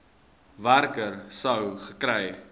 werker sou gekry